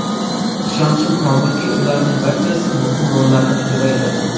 Ishonchim komilki, ularning barchasi muhim rollarni ijro etadi.